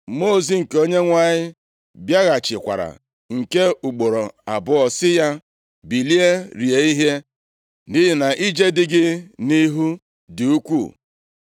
Mmụọ ozi nke Onyenwe anyị bịaghachikwara nke ugboro abụọ, sị ya, “Bilie rie ihe, nʼihi na ije dị gị nʼihu dị ukwuu.”